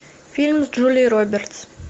фильм с джулией робертс